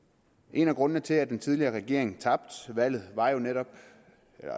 en af grundene til at den tidligere regering tabte valget var jo netop